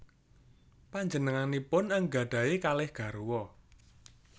Panjenenganipun anggadhahi kalih garwa